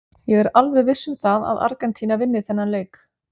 Ég er alveg viss um það að Argentína vinni þennan leik.